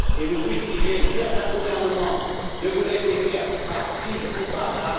Et vous fustigez certains gouvernements de vous laisser faire par ci ou par là.